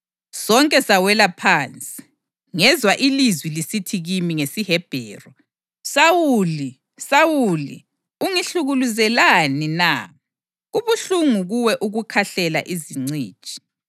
Sonke sawela phansi, ngezwa ilizwi lisithi kimi, ngesiHebheru, ‘Sawuli, Sawuli ungihlukuluzelani na? Kubuhlungu kuwe ukukhahlela izinciji.’